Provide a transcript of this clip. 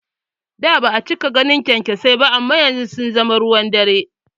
Da ba'a cika ganin kyankyasai ba amma yanzu sun zama ruwan dare